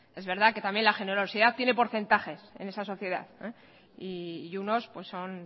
es verdad que también la generosidad tiene porcentajes en esta sociedad y unos son